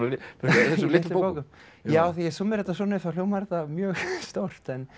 þessum litlu bókum já þegar ég súmmera þetta svona upp þá hljómar þetta mjög stórt